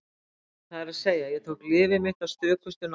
Það er að segja: Ég tók lyfið mitt af stökustu nákvæmni.